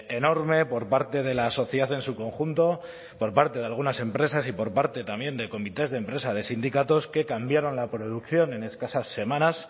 enorme por parte de la sociedad en su conjunto por parte de algunas empresas y por parte también de comités de empresa de sindicatos que cambiaron la producción en escasas semanas